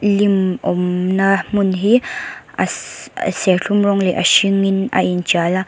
lim awmna hmun hi ashh serthlum rawng leh a hringin a inṭial a--